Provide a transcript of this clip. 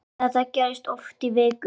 Þetta gerðist oft í viku.